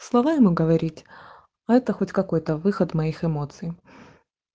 слава ему говорить а это хоть какой-то выход моих эмоций